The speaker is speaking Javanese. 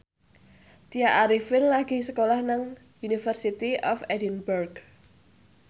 Tya Arifin lagi sekolah nang University of Edinburgh